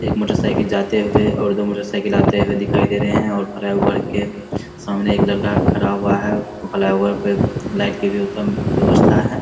एक motorcycle जाते हुए दो मोटर साइकिल आते हुए दिखाई दे रहे है और फ्लाई ओवर के फ्लाई ओवर के सामने एक लड़का खड़ा हुआ है पे लाइट के भी उत्तम व्यवस्था है।